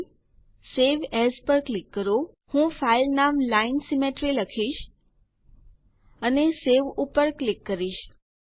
ફાઇલેગ્ટગટ save as પર click કરો હું ફાઇલ નામ line સિમેટ્રી લખીશ અને સવે પર ક્લિક કરીશ